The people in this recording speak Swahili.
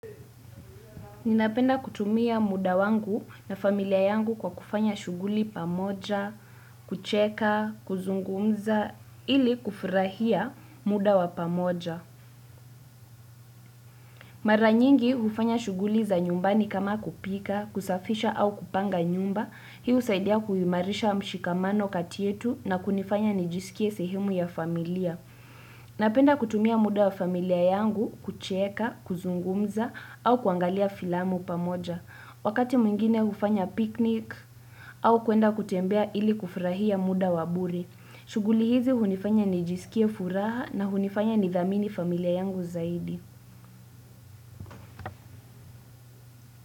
Ninapenda kutumia muda wangu na familia yangu kwa kufanya shughuli pamoja, kucheka, kuzungumza, ili kufurahia muda wa pamoja. Mara nyingi hufanya shughuli za nyumbani kama kupika, kusafisha au kupanga nyumba, hii husaidia kuimarisha mshikamano kati yetu na kunifanya nijisikie sehemu ya familia. Napenda kutumia muda wa familia yangu kucheka, kuzungumza au kuangalia filamu pamoja. Wakati mwingine hufanya picnic au kwenda kutembea ili kufurahia muda wa bure. Shughuli hizi hunifanya nijisikie furaha na hunifanya nidhamini familia yangu zaidi.